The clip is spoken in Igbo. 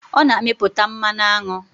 Ọ na-amịputa mmanụ aṅụ.